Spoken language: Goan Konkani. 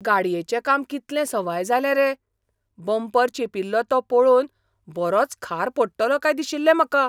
गाडयेचें काम कितलें सवाय जालें रे! बंपर चेंपिल्लो तो पळोवन बरोच खार पडटलो काय दिशिल्लें म्हाका.